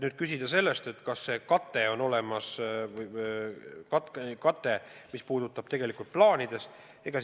Te küsite, kas see kate, mis puudutab plaane, on olemas.